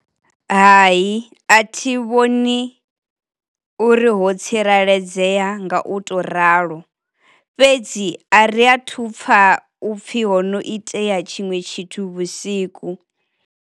Hai a thi vhoni uri ho tsireledzea nga u to ralo, fhedzi a ri athu upfa upfhi ho no itea tshinwe tshithu vhusiku.